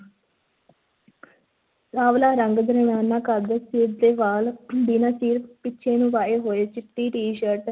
ਸਾਂਵਲਾ ਰੰਗ, ਦਰਮਿਆਨਾ ਕੱਦ, ਸਿਰ ਤੇ ਵਾਲ ਬਿਨਾਂ ਚੀਰ ਪਿੱਛੇ ਨੂੰ ਵਾਹੇ ਹੋਏ, ਚਿੱਟੀ ਟੀਸ਼ਰਟ